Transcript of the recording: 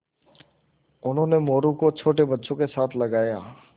उन्होंने मोरू को छोटे बच्चों के साथ लगाया